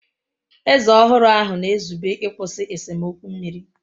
Eze ọhụrụ ahụ na-ezube ịkwụsị esemokwu mmiri.